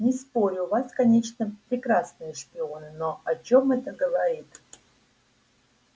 не спорю у вас конечно прекрасные шпионы но о чем это говорит